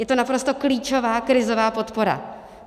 Je to naprosto klíčová krizová podpora.